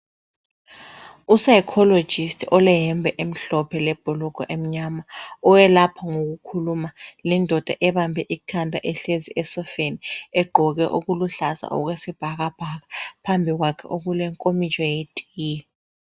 U-Psychologist oleyembe emhlophe lebhulugwa emnyama oyelapha ngokukhuluma lindoda ebambe ikhanda ehlezi esofeni, egqoke okuluhlaza okwesibhakabhaka, phambi kwakhe okulenkomitsho yetiye.